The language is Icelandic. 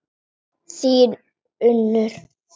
Þín Unnur.